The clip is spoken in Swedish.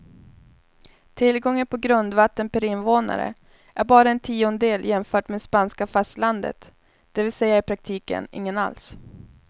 Tillgången på grundvatten per invånare är bara en tiondel jämfört med spanska fastlandet, det vill säga i praktiken ingen alls.